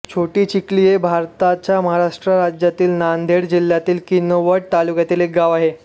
छोटीचिखली हे भारताच्या महाराष्ट्र राज्यातील नांदेड जिल्ह्यातील किनवट तालुक्यातील एक गाव आहे